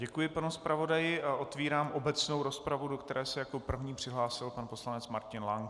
Děkuji panu zpravodaji a otevírám obecnou rozpravu, do které se jako první přihlásil pan poslanec Martin Lank.